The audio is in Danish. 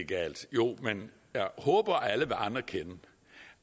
jo men jeg håber alle vil anerkende